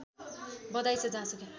बधाई छ जहाँसुकै